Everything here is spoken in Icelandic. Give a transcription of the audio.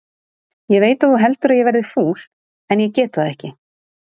Ég veit að þú heldur að ég verði fúl, en ég get það ekki.